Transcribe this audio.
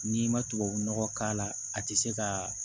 N'i ma tubabu nɔgɔ k'a la a ti se kaa